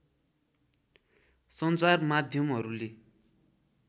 सञ्चार माध्यमहरू‎ले